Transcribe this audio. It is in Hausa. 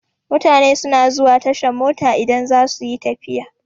Mutane suna zuwa tashan mota idan za suyi tafiya.